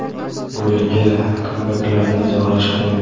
Bu yilgi kambeklarni izohlash qiyin.